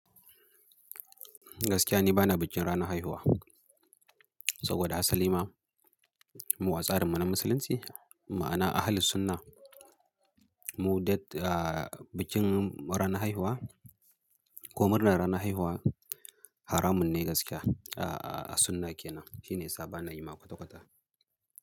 Gaskiya ni bana bikin ranar haihuwa, saboda a salima, mu a tsarin mu na musulunci, ma'ana Ahlus Sunnah. Mu da bikin ranar haihuwa ko murnar ranar haihuwa, haramun ne gaskiya a sunnah ke nan. Shine ya sa ba na yi ma kwata-kwata.